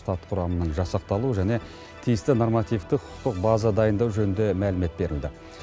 штат құрамының жасақталу және тиісті нормативтік құқықтық база дайындау жөнінде мәлімет берілді